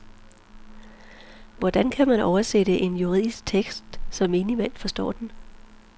Hvordan kan man oversætte en juridisk tekst, så menigmand forstår den?